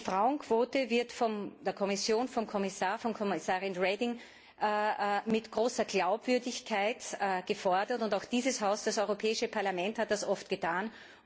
Die Frauenquote wird von der Kommission, von Kommissarin Reding, mit großer Glaubwürdigkeit gefordert. Und auch dieses Haus, das Europäische Parlament, hat das oft getan.